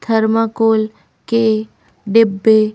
Thermocol के डिब्बे।